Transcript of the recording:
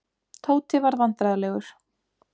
Tóti varð vandræðalegur.